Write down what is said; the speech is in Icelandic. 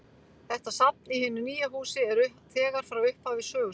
Þetta safn í hinu nýja húsi er þegar frá upphafi sögustaður.